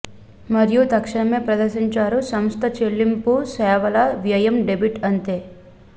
మరియు తక్షణమే ప్రదర్శించారు సంస్థ చెల్లింపు సేవల వ్యయం డెబిట్ అంతే